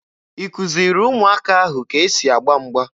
Ị kụziri ụmụaka ahụ ka e si agba mgba?